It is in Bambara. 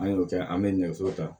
An y'o kɛ an bɛ nɛgɛso ta